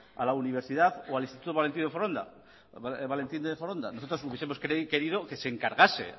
a la universidad o al instituto valentín de foronda nosotros hubiesemos querido que se encargase